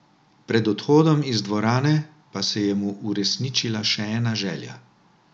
Pred odhodom iz dvorane pa se je mu uresničila še ena želja.